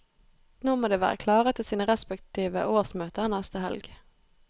Nå må de være klare til sine respektive årsmøter neste helg.